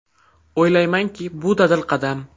O‘ylaymanki, bu dadil qadam.